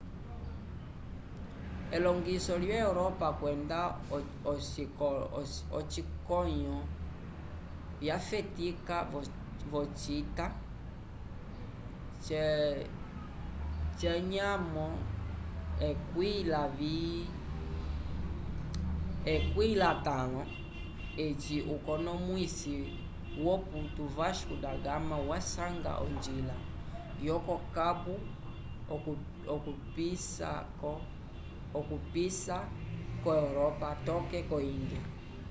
elongiso lyo europa kwenda ocikolonyo vyafetika vocita xv eci ukonomwisi woputu vasco da gama wasanga onjila yoko-cabo okupisa ko-europa toke ko-índia